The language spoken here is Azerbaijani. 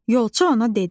Yolçu ona dedi: